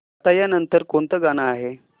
आता या नंतर कोणतं गाणं आहे